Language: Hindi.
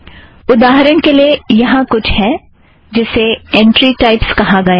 उदाहरण के लिए यहाँ कुछ है जिसे ऐंट्री टाइप कहा गया है